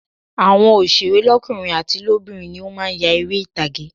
Àwọn òsèré lọ́kùnrin àti lóbìnrin ni ó má a nya eré ìtàgé